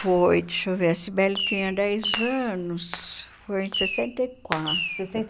Foi, deixa eu ver, a Sibeli tinha dez anos, foi em sessenta e quatro. Sessenta